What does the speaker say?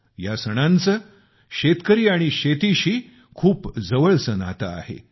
या सणांचं शेतकरी आणि शेतीशी खूप जवळच नातं आहे